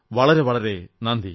വളരെ വളരെ നന്ദി